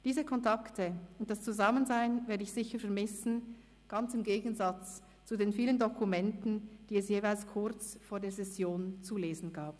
Diese Kontakte und das Zusammensein werde ich sicher vermissen – ganz im Gegensatz zu den vielen Dokumenten, die es jeweils kurz vor der Session zu lesen gab.